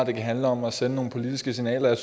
kan handle om at sende nogle politiske signaler jeg